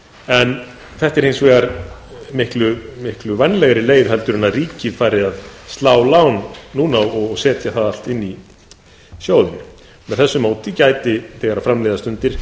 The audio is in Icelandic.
en þetta er hins vegar miklu vænlegri leið en ef ríkið færi að slá lán núna og setja það allt inn í sjóðinn með þessu móti gæti þegar fram líða stundir